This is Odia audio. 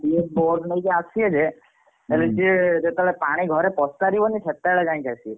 ସିଏ ଫୋରସ ନେଇକି ଆସିବେ ଯେ ହେଲେ ସିଏ ପାଣି ଯେତେ ବେଳେ ପସି ସରିବା ଘରେ ପସିସରିବା ସେତେବେଳେ ଯାଇ ଆସିବେ।